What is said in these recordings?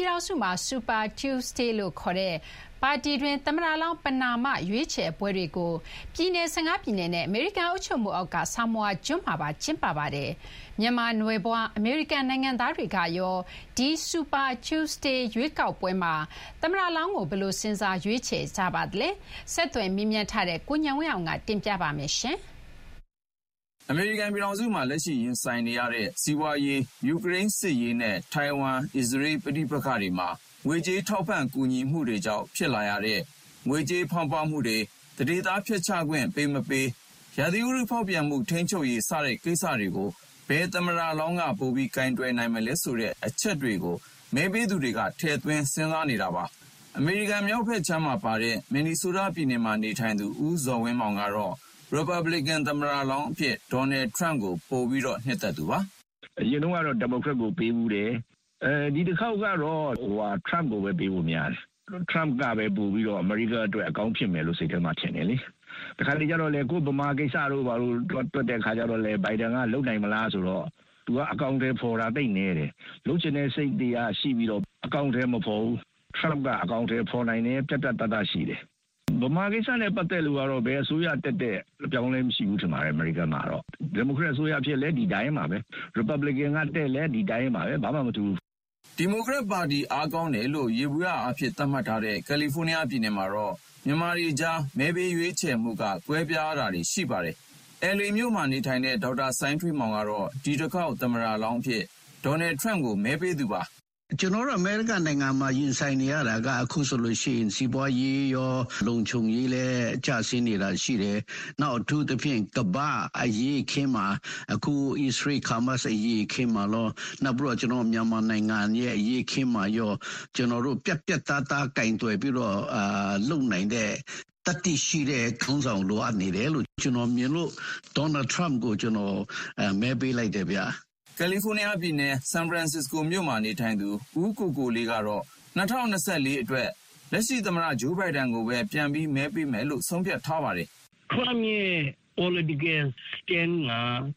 ြည်ထောင်စုမှာ Super Tuesday လို့ခေါ်တဲ့ ပါတီတွင်း သမ္မတလောင်း ပဏာမ ရွေးချယ်ပွဲတွေကို ပြည်နယ် ၁၅ ပြည်နယ်နဲ့ အမေရိကန် အုပ်ချုပ်မှုအောက်က Samoa ကျွန်းမှာပါ ကျင်းပါတယ်။ မြန်မာနွယ်ဖွား အမေရိကန်နိုင်ငံသားတွေကရော ဒီ Super Tuesday ရွေးကောက်ပွဲမှာ သမ္မတလောင်းကို ဘယ်လို စဉ်းစား ရွေးချယ်ကြပါသလဲ။ ဆက်သွယ်မေးမြန်းထားတဲ့ ကိုဉာဏ်ဝင်းအောင်က တင်ပြပါမယ်။ အမေရိကန်ပြည်ထောင်စုမှာ လက်ရှိရင်ဆိုင်နေရတဲ့ စီးပွါးရေး၊ ယူကရိန်းစစ်ရေးနဲ့ ထိုင်ဝမ်၊ အစ္စရေး ပဋိပက္ခတွေမှာ ငွေကြေးထောက်ပံ့ကူညီမှုတွေကြောင့် ဖြစ်လာရတဲ့ ငွေကြေးဖောင်းပွမှုတွေ၊ သန္ဓေသားဖျက်ချခွင့်ပေးမပေး၊ ရာသီဥတုဖောက်ပြန်မှုထိန်းချုပ်ရေး-စတဲ့ကိစ္စတွေကို ဘယ်သမ္မတလောင်းက ပိုပြီး ကိုင်တွယ်နိုင်မလဲဆိုတဲ့အချက်တွေကို မဲပေးသူတွေက ထည့်သွင်းစဉ်းစားနေတာပါ။ အမေရိကန်မြောက်ဘက်ခြမ်းမှာပါတဲ့ မင်နီဆိုးတားပြည်နယ်မှာနေထိုင်သူ ဦးဇော်ဝင်းမောင်ကတော့ ရီပတ်ဘလီကန်သမ္မတလောင်းအဖြစ် ဒေါ်နယ်ထရမ့်ကို ပိုပြီးတော့ နှစ်သက်သူပါ။ "အရင်တုန်းကတော့ ဒီမိုကရက်ကိုပေးဖူးတယ်။ ဒီတခေါက်ကတော့ ထရမ့်ကိုပဲ ပေးဖို့များတယ်။ ထရမ့်ကပဲပိုပြီးတော့ အမေရိကားအတွက် အကောင်းဖြစ်မယ်လို့ စိတ်ထဲမှာထင်တယ်လေ။ တခါတလေကျတော့လည်း ကိုယ့်ဗမာကိစ္စတို့ ဘာတို့ တွက်တဲ့အခါကျတော့လည်း ဘိုင်ဒန်က လုပ်နိုင်မလား-ဆိုတော့ သူက အကောင်အထည်ဖော်တာ သိပ်နည်းတယ်။ လုပ်ချင်တဲ့စိတ်တွေကရှိပြီးတော့ အကောင်အထည်မဖော်ဘူး။ ထရမ့်က အကောင်အထည်ဖော်နိုင်တယ်။ ပြတ်ပြတ်သားသားရှိတယ်။ ဗမာကိစ္စနဲ့ပတ်သက်လို့ကတော့ ဘယ်အစိုးရတက်တက် အပြောင်းအလဲ မရှိဘူးထင်ပါတယ်၊ အမေရိကားမှာ။ ဒီမိုကရက်တစ်အစိုးရဖြစ်လည်း ဒီအတိုင်းပါပဲ။ရီပတ်ဘလင်ကန်ကတက်လည်း ဒီအတိုင်းပါပဲ၊ ဘာမှမထူးဘူး။" ဒီမိုကရက်ပါတီအားကောင်းတယ်လို့ ယေဘုယျအားဖြင့် သတ်မှတ်ထားတဲ့ကယ်လီဖိုးနီးယားပြည်နယ်မှာတော့ မြန်မာတွေကြား မဲပေးရွေးချယ်မှုက ကွဲပြားတာတွေ ရှိပါတယ်။ LA မြို့မှာနေထိုင်တဲ့ ဒေါက်တာစိုင်းထွေးမောင်ကတော့ ဒီတခေါက် သမ္မတလောင်းအဖြစ် ဒေါ်နယ်ထရမ့်ကို မဲပေးသူပါ။ "ကျနော်ကတော့ အမေရိကန်နိုင်ငံမှာရင်ဆိုင်နေရတာက အခုဆိုလို့ရှိရင် စီးပွါးရေးရော၊ လုံခြုံရေးလည်းကျဆင်းနေတာရှိတယ်။ နောက် အထူးသဖြင့် ကမ္ဘာ့အရေးအခင်းမှာ အခု အစ္စရေး-ဟာမတ်စ်အရေးအခင်းမှာရော၊ နောက်ပြီးတော့ ကျနော်တို့မြန်မာနိုင်ငံအရေးအခင်းမှာရော ပြတ်ပြတ်သားသားကိုင်တွယ်ပြီးတော့ လုပ်နိုင်တဲ့၊ သတ္တိရှိတဲ့ခေါင်းဆောင်လိုအပ်နေတယ်လို့ ကျနော်မြင်လို့ ဒေါ်နယ်ထရမ့်ကို ကျနော် မဲပေးလိုက်တယ်ဗျ။" ကယ်လီဖိုးနီးယားပြည်နယ်၊ ဆန်ဖရန်စ္စစကိုမြို့မှာနေထိုင်သူ ဦးကိုကိုလေးကတော့ ၂၀၂၄ အတွက် လက်ရှိသမ္မတဂျိုးဘိုင်ဒန်ကိုပဲပြန်ပြီး မဲပေးမယ်လို့ ဆုံးဖြတ်ထားပါတယ်။ "ထရမ့်ရဲ့ political stand က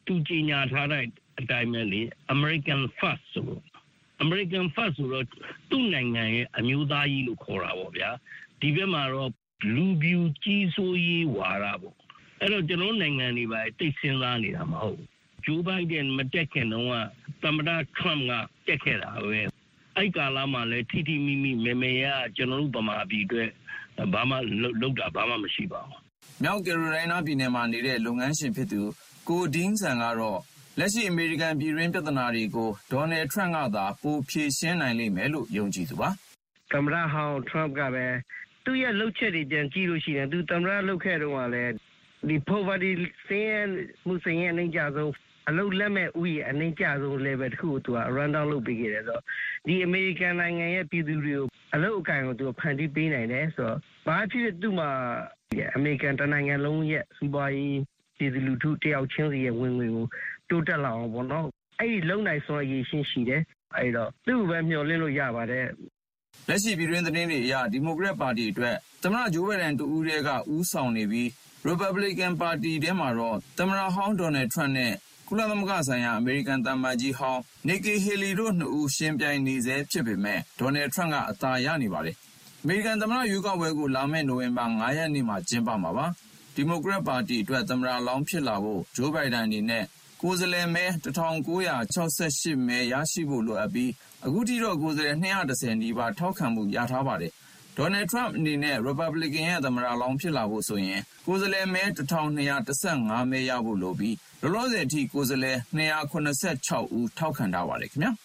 သူကြေညာထားတဲ့အတိုင်းပဲလေ။ American first ဆိုတာ။ အမေရိကန် first ဆိုတော့ သူ့နိုင်ငံရဲ့အမျိုးသားရေးကိုခေါ်တာပေါ့ဗျာ။ ဒီဘက်မှာတော့ လူဖြူကြီးစိုးရေးဝါဒ-ပေါ့။ အဲဒီတော့ ကျနော်တို့နိုင်ငံတွေ ဘာတွေ သိပ်စဥ်းစားနေတာမဟုတ်ဘူး။ ဂျိုးဘိုင်ဒန်မတက်ခင်တုန်းက သမ္မတထရမ့်က တက်ခဲ့တာပဲ။ အဲဒီကာလမှာလည်း ထိထိမိမိ မယ်မယ်ရရ ကျနော်တို့ဗမာပြည်အတွက် လုပ်တာ ဘာမှ မရှိပါဘူး။" မြောက်ကယ်ရိုလိုင်းနားပြည်နယ်မှာနေတဲ့ လုပ်ငန်းရှင် ကို ဒဲင်းဆန် ကတော့ လက်ရှိ အမေရိကန်ပြည်တွင်းပြဿနာတွေကို ဒေါ်နယ်ထရမ့်ကသာ ပိုဖြေရှင်းနိုင်လိမ့်မယ်လို့ ယုံကြည်သူပါ။ "သမ္မတဟောင်းထရမ့်ကလည်း သူ့ရဲ့လုပ်ချက်တွေ ပြန်ကြည့်လို့ရှိရင် သူသမ္မတလုပ်ခဲ့တုန်းကလည်း ဆင်းရဲသူအရေအတွက်အနိမ့်ကျဆုံး၊ အလုပ်လက်မဲ့ဦးရေအနိမ့်ကျဆုံး level တခုကိုသူက run-down လုပ်ပေးခဲ့တယ်ဆိုတော့ ဒီအမေရိကန်နိုင်ငံရဲ့ပြည်သူတွေကို အလုပ်အကိုင်ကို ဖန်တီးပေးနိုင်တယ်ဆိုတော့ ဘာပဲဖြစ်ဖြစ် သူ့မှာ အမေရိကန်တနိုင်ငံလုံးရဲ့စီးပွါးရေး၊ ပြည်သူလူထုတယောက်ချင်းစီရဲ့ဝင်ငွေကို တိုးတက်လာအောင်ပေါ့- အဲဒီလုပ်နိုင်စွမ်းအရည်အချင်းရှိတယ်။ အဲဒီတော့ သူ့ကိုပဲ မျှော်လင့်လို့ရပါတယ်။" လက်ရှိပြည်တွင်းသတင်းတွေအရ ဒီမိုကရက်ပါတီအတွက် သမ္မတဂျိုးဘိုင်ဒန်တဦးတည်းက ဦးဆောင်နေပြီး ရီပတ်ဘလီကင်ပါတီထဲမှာတော့ သမ္မတဟောင်း ဒေါ်နယ်ထရမ့်နဲ့ ကုလသမဂ္ဂဆိုင်ရာ အမေရိကန်သံအမတ်ကြီးဟောင်း နစ်ကီဟေလီတို့နှစ်ဦး ယှဥ်ပြိုင်နေဆဲဖြစ်ပေမဲ့ ဒေါ်နယ်ထရမ့်က အသာရနေပါတယ်။ အမေရိကန်သမ္မတရွေးကောက်ပွဲကို လာမဲ့နိုဝင်ဘာလ ၅ ရက်နေ့မှာ ကျင်းပမှာပါ။ ဒီမိုကရက်ပါတီအတွက် သမ္မတလောင်းဖြစ်လာဖို့ ဂျိုးဘိုင်ဒန်အနေနဲ့ ကိုယ်စားလှယ်မဲ ၁,၉၆၈ မဲ ရရှိဖို့လိုအပ်ပြီး အခုထိတော့ ကိုယ်စားလှယ်မဲ ၂၁၀ နီးပါး ထောက်ခံမှုရထားပါတယ်။ ဒေါ်နယ်ထရမ့်အနေနဲ့ ရီပတ်ဘလစ်ကန်ရဲ့သမ္မတလောင်းဖြစ်လာဖို့ဆိုရင် ကိုယ်စားလှယ်မဲ ၁,၂၁၅ မဲရဖို့လိုပြီး လောလောဆယ်အထိ ကိုယ်စားလှယ် ၂၇၆ ဦး ထောက်ခံထားပါတယ်ခင်ဗျာ